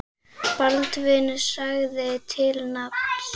Baldvin sagði til nafns.